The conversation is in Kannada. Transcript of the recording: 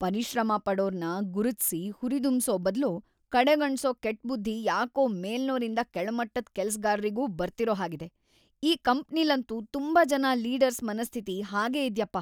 ಪರಿಶ್ರಮ ಪಡೋರ್ನ ಗುರುತ್ಸಿ ಹುರಿದುಂಬ್ಸೋ ಬದ್ಲು ಕಡೆಗಣ್ಸೋ ಕೆಟ್‌ಬುದ್ಧಿ ಯಾಕೋ ಮೇಲ್ನೋರಿಂದ ಕೆಳಮಟ್ಟದ್‌ ಕೆಲ್ಸ್‌ಗಾರ್ರಿಗೂ ಬರ್ತಿರೋ ಹಾಗಿದೆ, ಈ ಕಂಪ್ನಿಲಂತೂ ತುಂಬಾ ಜನ ಲೀಡರ್ಸ್‌ ಮನಸ್ಥಿತಿ ಹಾಗೇ ಇದ್ಯಪ್ಪ.